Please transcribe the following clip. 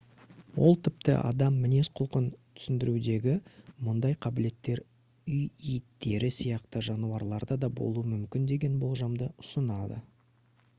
ол тіпті адам мінез-құлқын түсіндірудегі мұндай қабілеттер үй иттері сияқты жануарларда болуы мүмкін деген болжамды ұсынады